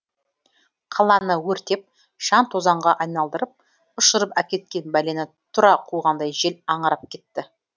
қаланы өртеп шаң тозаңға айналдырып ұшырып әкеткен бәлені тұра қуғандай жел аңырап кетті